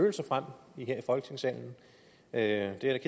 fra at det er